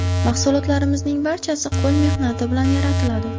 Mahsulotlarimizning barchasi qo‘l mehnati bilan yaratiladi.